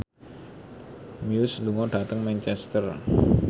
Muse lunga dhateng Manchester